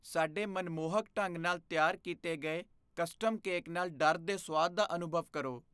ਸਾਡੇ ਮਨਮੋਹਕ ਢੰਗ ਨਾਲ ਤਿਆਰ ਕੀਤੇ ਗਏ ਕਸਟਮ ਕੇਕ ਨਾਲ ਡਰ ਦੇ ਸੁਆਦ ਦਾ ਅਨੁਭਵ ਕਰੋ।